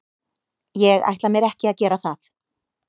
Ég ætla mér ekki að gera það.